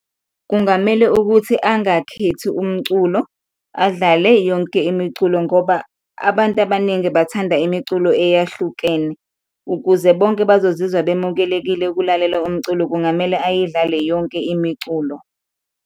Kungamele ukuthi angakhethi umculo, adlale yonke imiculo ngoba abantu abaningi bathanda imiculo eyahlukene, ukuze bonke bazozizwa bemukelekile ukulalela umculo, kungamele ayidlale yonke imiculo.